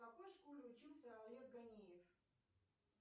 в какой школе учился олег ганеев